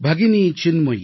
भगिनी चिन्मयि